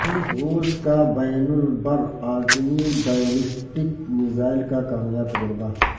روس کا بین البراعظمی بیلسٹک میزائل کا کامیاب تجربہ